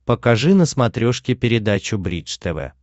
покажи на смотрешке передачу бридж тв